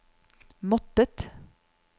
måttet